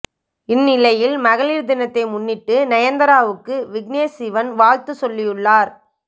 இந்நிலையில் மகளிர் தினத்தை முன்னிட்டு நயன் தாராவுக்கு விக்னேஷ் சிவன் வாழ்த்து சொல்லியுள்ளார்